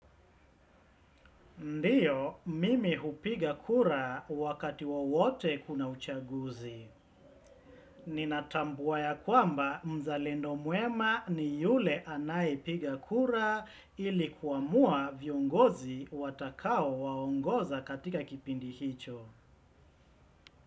Ndiyo, mimi hupiga kura wakati wowote kuna uchaguzi. Ninatambua kwamba, mzalendo mwema ni yule anayepiga kura ili kuamua viongozi watakao waongoza katika kipindi hicho.